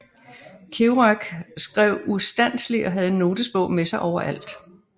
Kerouac skrev ustandseligt og havde en notesbog med sig overalt